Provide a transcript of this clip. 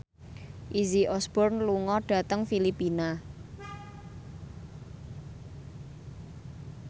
Izzy Osborne lunga dhateng Filipina